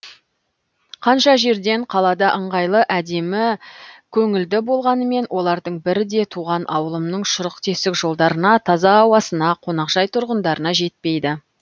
қанша жерден қалада ыңғайлы әдемі көңілді болғанымен олардың бірі де туған ауылымның шұрық тесік жолдарына таза ауасына қоңақжай тұрғындарына жетпейді